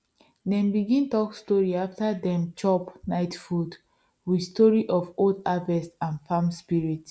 dem begin talk story after dem chop night food with story of old harvest and farm spirit